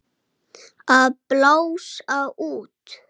Unnið verði á milli funda.